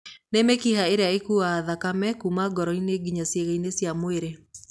Nĩ mĩkiha ĩrĩa ĩkuaga thakame kuma ngoro-inĩ nginya ciĩga-inĩ cia mwĩrĩ.